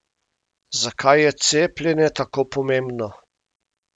Zakaj je cepljenje tako pomembno?